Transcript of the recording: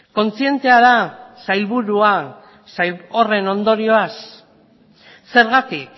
kontzientea da sailburua horren ondorioaz zergatik